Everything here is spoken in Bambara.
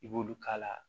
I b'olu k'a la